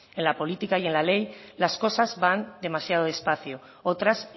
en la política y en la ley las cosas van demasiado despacio otras